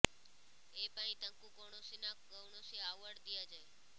ଏ ପାଇଁ ତାଙ୍କୁ କୌଣସି ନା କୌଣସି ଆଓ୍ବାର୍ଡ ଦିଆଯାଏ